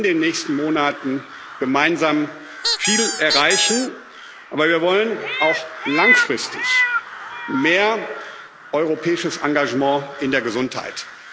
Wir wollen in den nächsten Monaten gemeinsam viel erreichen, aber wir wollen auch langfristig mehr europäisches Engagement in der Gesundheit.